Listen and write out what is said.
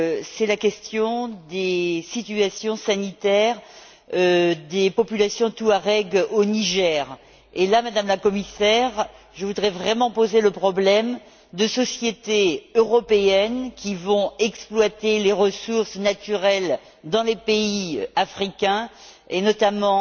c'est la question de la situation sanitaire des populations touareg au Niger. Dans ce contexte, Madame la Commissaire, je voudrais vraiment poser le problème de sociétés européennes qui vont exploiter des ressources naturelles dans des pays africains, et notamment